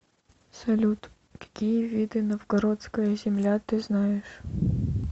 салют какие виды новгородская земля ты знаешь